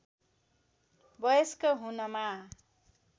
वयस्क हुनमा